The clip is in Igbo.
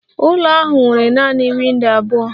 Ụlọ ahụ nwere nanị windo abụọ.